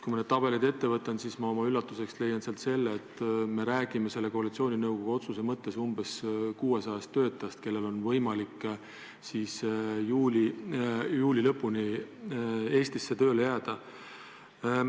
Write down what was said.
Kui ma need tabelid ette võtan, siis leian ma sealt oma üllatuseks, et me räägime selle koalitsiooninõukogu otsuse mõttes umbes 600 töötajast, kellel on võimalik juuli lõpuni Eestisse tööle jääda.